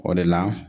O de la